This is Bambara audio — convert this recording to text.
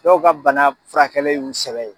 Dɔw ka bana furakɛli y'i u sɛbɛ ye.